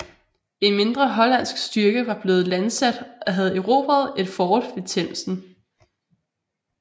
En mindre hollandsk styrke var blevet landsat og havde erobret et fort ved Themsen